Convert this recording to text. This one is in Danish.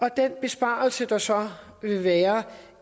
at den besparelse der så vil være